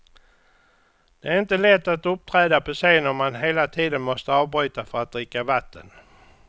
Det är inte lätt att uppträda på scen om man hela tiden måste avbryta för att dricka vatten.